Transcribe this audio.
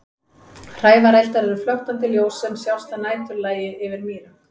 Hrævareldar eru flöktandi ljós sem sjást að næturlagi yfir mýrum.